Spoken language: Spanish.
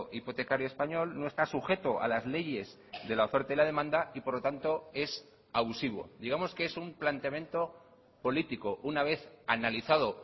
hipotecario español no está sujeto a las leyes de la oferta y la demanda y porlo tanto es abusivo digamos que es un planteamiento político una vez analizado